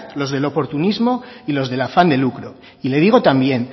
los del oportunismo y los del afán de lucro y le digo también